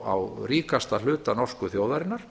á ríkasta hluta norsku þjóðarinnar